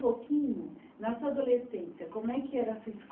Um pouquinho, na sua adolescência, como é que era a sua